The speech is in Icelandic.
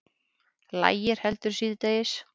Lægir heldur síðdegis